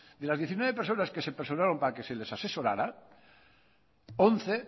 de las diecinueve personas que se personaron para que se les asesorara once